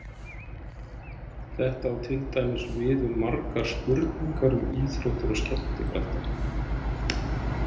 Þetta á til dæmis við um margar spurningar um íþróttir og skemmtikrafta.